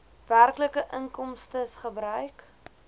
werklike inkomstes gebruik